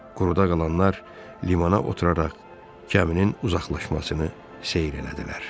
Quruda qalanlar limana oturaraq gəminin uzaqlaşmasını seyr elədilər.